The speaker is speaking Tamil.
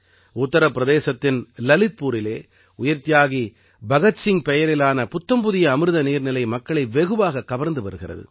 உத்தர பிரதேசத்தின் லலித்பூரிலே உயிர்த்தியாகி பகத் சிங் பெயரிலான புத்தம்புதிய அமிர்த நீர்நிலை மக்களை வெகுவாகக் கவர்ந்து வருகிறது